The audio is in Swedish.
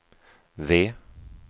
V